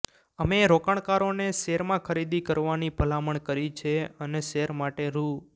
અમે રોકાણકારોને શેરમાં ખરીદી કરવાની ભલામણ કરી છે અને શેર માટે રૂ